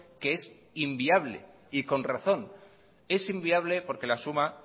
que es inviable y con razón es inviable porque la suma